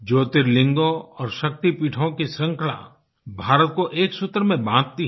ज्योर्तिलिंगो और शक्तिपीठों की श्रृंखला भारत को एक सूत्र में बांधती है